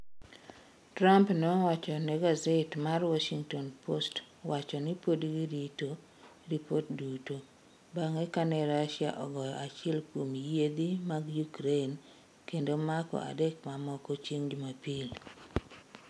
Trump nowacho ne gaset mar Washington Post wacho ni pod girito "ripot duto " bang ' kane Russia ogoyo achiel kuom yiedhi mag Ukraine kendo mako adek mamoko chieng ' Jumapil.